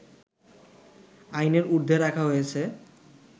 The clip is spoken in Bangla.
আইনের ঊর্ধ্বে রাখা হয়েছে